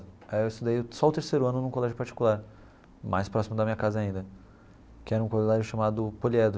Aí eu estudei só o terceiro ano num colégio particular, mais próximo da minha casa ainda, que era um colégio chamado Poliedro.